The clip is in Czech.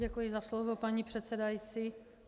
Děkuji za slovo, paní předsedající.